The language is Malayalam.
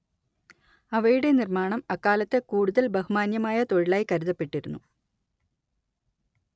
അവയുടെ നിർമ്മാണം അക്കാലത്ത് കൂടുതൽ ബഹുമാന്യമായ തൊഴിലായി കരുതപ്പെട്ടിരുന്നു